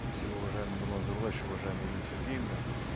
спасибо уважаемый нурлан зайроллаевич уважаемая ирина сергеевна